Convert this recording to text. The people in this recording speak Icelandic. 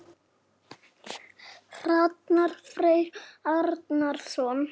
Hrannar Freyr Arason.